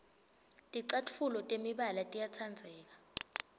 ticatfuco temibala tiyatsandzeka